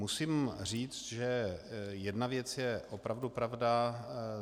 Musím říct, že jedna věc je opravdu pravda.